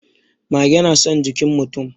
Mage na son jikin mutum.